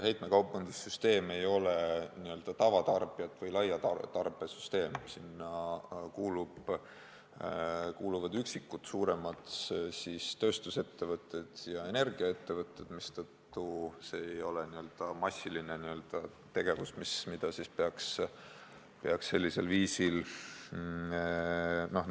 Heitekaubandussüsteem ei ole n-ö tavatarbija- või laiatarbesüsteem, sellesse kuuluvad üksikud suuremad tööstusettevõtted ja energiaettevõtted, mistõttu ei ole see n-ö massiline tegevus, mida peaks sellisel viisil käsitlema.